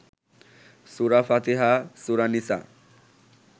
সুরা ফাতিহা, সুরা নিসা